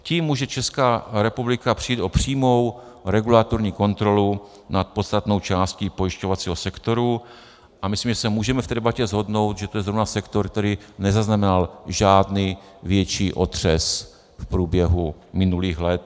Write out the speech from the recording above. Tím může Česká republika přijít o přímou regulatorní kontrolu nad podstatnou částí pojišťovacího sektoru, a myslím, že se můžeme v té debatě shodnout, že to je zrovna sektor, který nezaznamenal žádný větší otřes v průběhu minulých let.